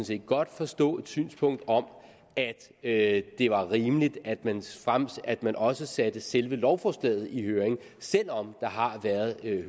set godt forstå et synspunkt om at det var rimeligt at man at man også sendte selve lovforslaget i høring selv om der har været